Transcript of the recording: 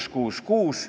Head kolleegid!